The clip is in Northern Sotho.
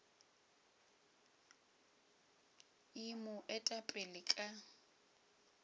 e mo eta pele ka